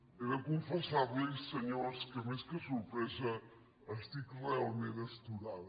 he de confessar los senyors que més que sorpresa estic realment astorada